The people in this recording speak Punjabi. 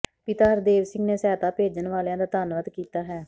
ਪਿਤਾ ਹਰਦੇਵ ਸਿੰਘ ਨੇ ਸਹਾਇਤਾ ਭੇਜਣ ਵਾਲਿਆਂ ਦਾ ਧੰਨਵਾਦ ਕੀਤਾ ਹੈ